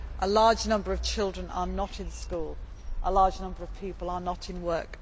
A large number of children are not in school, a large number of people are not in work.